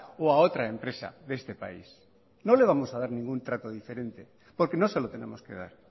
o a otra empresa de este país no le vamos a dar ningún trato diferente porque no se lo tenemos que dar